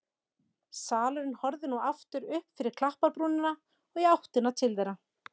Selurinn horfði nú aftur upp fyrir klapparbrúnina og í áttina til þeirra.